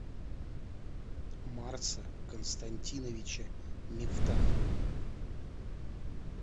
марса константиновича мифтахова